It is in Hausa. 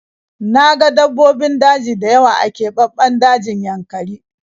Na ga dabbobin daji dayawa a kebabben dajin yankari